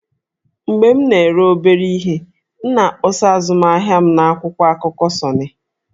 Mgbe m na-ere obere ihe, m na-akpọsa azụmahịa m n'akwụkwọ akụkọ 'Sunny'